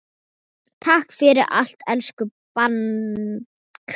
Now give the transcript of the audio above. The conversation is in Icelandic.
Takk fyrir allt, elsku Bangsi.